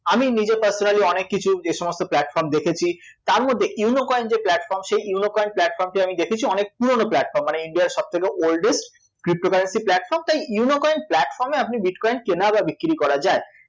আমি নিজে personally অনেককিছু যে সমস্ত platform দেখেছি তারমধ্যে ইউনো কয়েন যে platform সেই ইউনো কয়েন platform টি আমি দেখেছি অনেক পুরোনো platform মানে ইন্ডিয়ার সবথেকে oldest cryptocurrency platform তাই ইউনো কয়েন platform এ আপনি bitcoin কেনা বা বিক্রী করা যায়